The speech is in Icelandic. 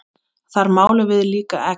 Þar málum við líka egg.